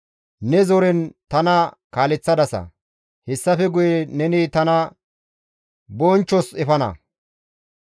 Ne zoren tana kaaleththadasa; hessafe guye neni tana bonchchos efana.